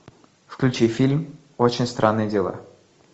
включи фильм очень странные дела